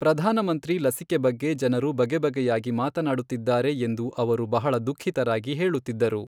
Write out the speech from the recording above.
ಪ್ರಧಾನಮಂತ್ರಿ ಲಸಿಕೆ ಬಗ್ಗೆ ಜನರು ಬಗೆಬಗೆಯಾಗಿ ಮಾತನಾಡುತ್ತಿದ್ದಾರೆ ಎಂದು ಅವರು ಬಹಳ ದುಖಿಃತರಾಗಿ ಹೇಳುತ್ತಿದ್ದರು,